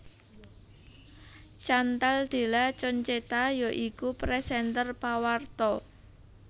Chantal Della Concetta ya iku présènter pawarta